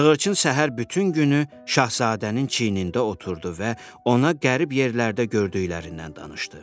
Sığırçın səhər bütün günü Şahzadənin çiynində oturdu və ona qərib yerlərdə gördüklərindən danışdı.